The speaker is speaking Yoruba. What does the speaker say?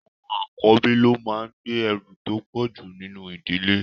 Àwọn àkọ́bí ló máa ń gbé ẹrù tó pọ̀jù nínú ìdílé.